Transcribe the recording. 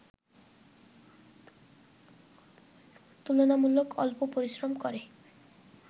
তুলনামূলক অল্প পরিশ্রম করে